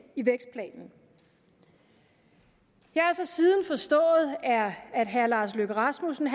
i vækstplanen jeg har så siden forstået at herre lars løkke rasmussen